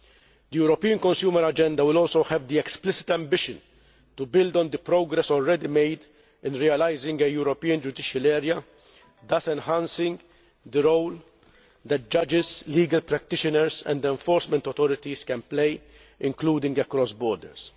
The European Consumer Agenda will also have the explicit ambition to build on the progress already made in realising a European Judicial Area, thus enhancing the role that judges, legal practitioners and enforcement authorities can play, including across borders.